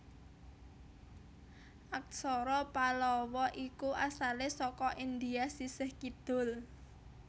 Aksara Pallawa iku asalé saka India sisih kidul